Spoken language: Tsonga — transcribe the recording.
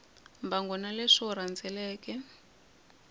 mbangu na leswi wu rhendzeleke